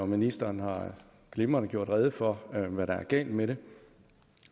ministeren har glimrende gjort rede for hvad der er galt med det